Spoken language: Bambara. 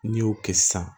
N'i y'o kɛ sisan